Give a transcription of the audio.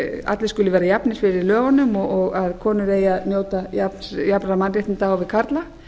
allir skuli vera jafnir fyrir lögunum og að komur eigi að njóta jafnra mannréttinda á við karla